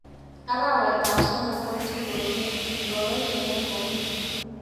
Arawetap somok ko tuiyoshek ingoro cheanyoru?